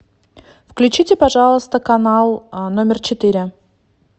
включите пожалуйста канал номер четыре